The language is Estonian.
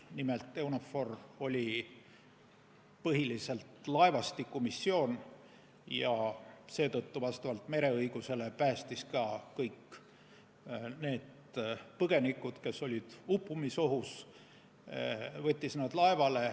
Nimelt, EUNAVFOR oli põhiliselt laevastikumissioon ja seetõttu mereõiguse kohaselt päästis ka kõik need põgenikud, kes olid uppumisohus, ja võttis nad laevale.